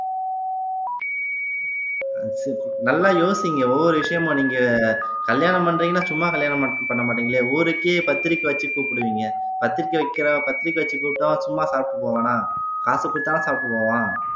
நல்லா யோசிங்க ஒவ்வொரு விஷயமும் நீங்க கல்யாணம் பண்றீங்கன்னா சும்மா கல்யாணம் பண்ண மாட்டீங்களே ஊருக்கே பத்திரிகை வச்சு கூப்பிடுவீங்க பத்திரிகை வைக்கிறோம் பத்திரிகை வச்சு கூப்பிட்டோம் சும்மா சாப்பிட்டு போவானா காசு கொடுத்தா சாப்பிட்டு போவோம்